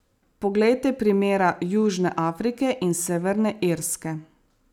Poglejte primera Južne Afrike in Severne Irske.